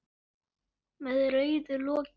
Tuttugu ár!